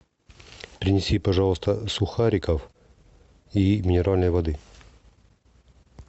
принеси пожалуйста сухариков и минеральной воды